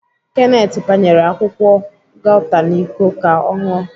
Kenneth panyere akwụkwọ gauta n'Iko ka ọ ṅụọ.